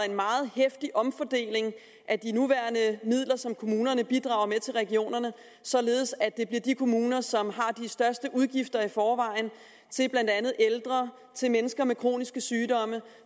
en meget heftig omfordeling af de nuværende midler som kommunerne bidrager med til regionerne således at det bliver de kommuner som har de største udgifter i forvejen til blandt andet ældre til mennesker med kroniske sygdomme